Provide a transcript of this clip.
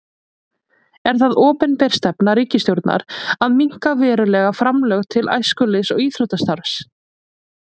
Er það opinber stefna ríkisstjórnar að minnka verulega framlög til æskulýðs- og íþróttastarfs?